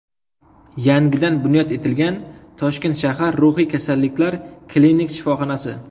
Yangidan bunyod etilgan Toshkent shahar ruhiy kasalliklar klinik shifoxonasi.